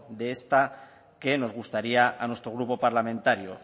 de esta que nos gustaría a nuestro grupo parlamentario